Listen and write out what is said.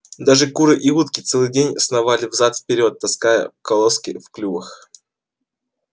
даже куры и утки целый день сновали взад и вперёд таская колоски в клювах